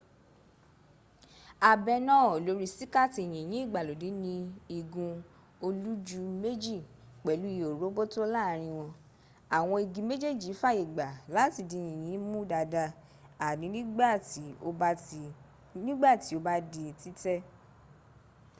abẹ náà lórí síkààtì yìnyín ìgbàlódẹ́ ní igun olújúmẹ́jì pẹ̀lú ihò róbótó láàrin wọn àwọn igi méjèèjì fàyègbà láti di yìnyín mu dada àní nígbàtí ó bá di títẹ̀